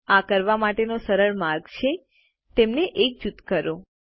આ કરવા માટેનો સરળ માર્ગ છે તેમને એક જૂથ કરો